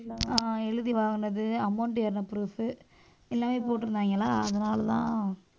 அஹ் எழுதி வாங்குனது amount ஏறுன proof எல்லாமே போட்டிருந்தாங்களா அதனாலதான்